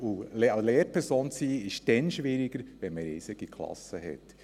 Eine Lehrperson zu sein, ist schwieriger, wenn man riesige Klassen hat.